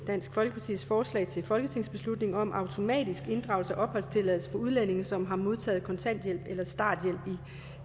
dansk folkepartis forslag til folketingsbeslutning om automatisk inddragelse af opholdstilladelsen for udlændinge som har modtaget kontanthjælp eller starthjælp